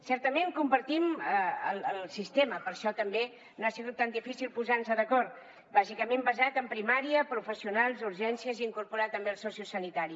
certament compartim el sistema per això tampoc no ha sigut tan difícil posar nos d’acord bàsicament basat en primària professionals urgències i incorporar també el sociosanitari